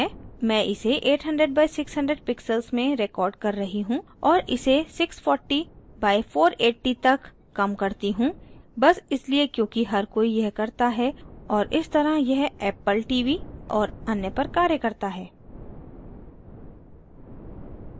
मैं इसे 800/600 pixels में recording कर रही हूँ और इसे 640/480 तक कम करती हूँ बस इसलिए क्योंकि हर कोई यह करता है और इस तरह यह apple tv और अन्य पर कार्य करता है